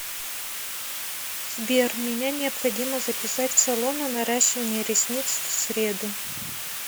сбер меня необходимо записать в салон на наращивание ресниц в среду